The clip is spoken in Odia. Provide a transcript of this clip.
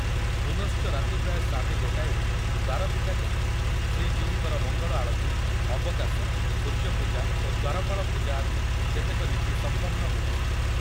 ପୁନଶ୍ଚ ରାତି ପ୍ରାୟ ସାଢେ ଗୋଟାଏରେ ଦ୍ୱାର ଫିଟାଯାଇ ଶ୍ରୀଜୀଉଙ୍କର ମଙ୍ଗଳ ଆଳତୀ, ଅବକାଶ, ସୂର୍ଯ୍ୟପୂଜା ଓ ଦ୍ୱାରପାଳ ପୂଜା ଆଦି କେତେକ ନୀତି ସମ୍ପନ୍ନ ହୋଇଛି ।